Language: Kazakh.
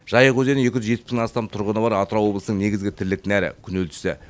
жайық өзені екі жүз жетпіс мыңнан астам тұрғыны бар атырау облысының негізгі тірлік нәрі күнелтісі